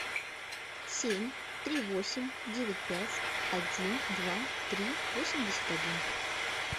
семь три восемь девять пять один два три восемьдесят один